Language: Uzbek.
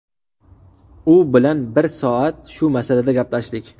U bilan bir soat shu masalada gaplashdik.